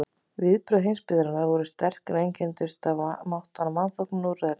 Viðbrögð heimsbyggðarinnar voru sterk, en einkenndust af máttvana vanþóknun og úrræðaleysi.